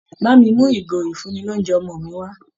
Bá mi mú ìgò ìfúnni-lóunjẹ ọmọ mi wá